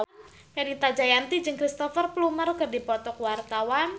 Fenita Jayanti jeung Cristhoper Plumer keur dipoto ku wartawan